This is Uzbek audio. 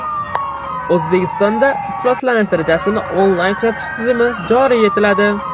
O‘zbekistonda ifloslanish darajasini onlayn kuzatish tizimi joriy etiladi.